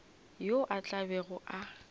yo a tla bego a